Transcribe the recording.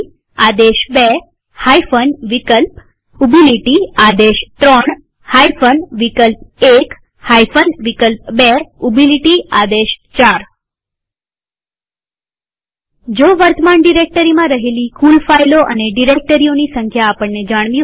આદેશ2 વિકલ્પ|આદેશ3 વિકલ્પ1 વિકલ્પ2|આદેશ4 વર્તમાન ડિરેક્ટરીમાં રહેલી કુલ ફાઈલો અને ડિરેક્ટરીઓની સંખ્યા આપણને જાણવી હોય તો